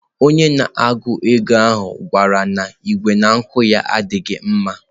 Onye na-ego ego ahụ kwuru na igwe ngụkọ ya adịghị mma.